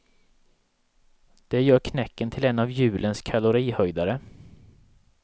Det gör knäcken till en av julens kalorihöjdare.